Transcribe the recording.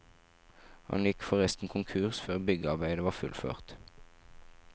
Han gikk forresten konkurs før byggearbeidet var fullført.